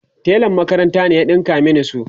telan makaranta ne ya ɗinka Mani su